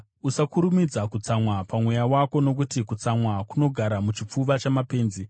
Usakurumidza kutsamwa pamweya wako nokuti kutsamwa kunogara muchipfuva chamapenzi.